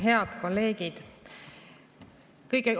Head kolleegid!